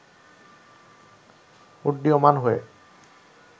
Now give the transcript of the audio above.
উড্ডীয়মান হয়ে